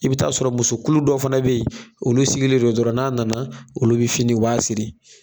I bɛ ta sɔrɔ muso kulu dɔ fana bɛ yen, olu sigilen don dɔrɔn n'a nana, olu bɛ fini o b'a siri.